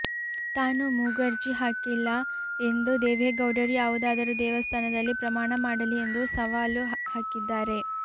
ತಾನು ಮೂಗರ್ಜಿ ಹಾಕಿಲ್ಲ ಎಂದು ದೇವೇಗೌಡರು ಯಾವುದಾದರೂ ದೇವಸ್ಥಾನದಲ್ಲಿ ಪ್ರಮಾಣ ಮಾಡಲಿ ಎಂದು ಸವಾಲು ಹಾಕಿದ್ದಾರೆ